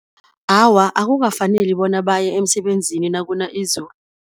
Awa akukafaneli bona baye emsebenzini nakuna izulu.